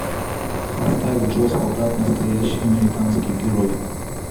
поставь джо солдат настоящий американский герой